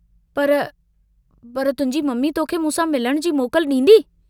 पर... पर... तुहिंजी ममी तोखे मूंसां मिलण जी मोकल डींदी?